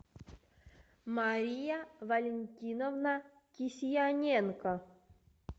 мария валентиновна кисьяненко